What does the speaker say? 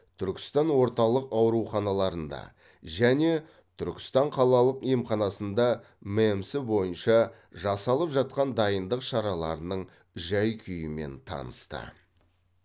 түркістан орталық ауруханаларында және түркістан қалалық емханасындағы мэмс бойынша жасалып жатқан дайындық шараларының жай күйімен танысты